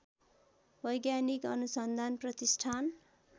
वैज्ञानिक अनुसन्धान प्रतिष्ठान